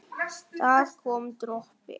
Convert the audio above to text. það kom dropi.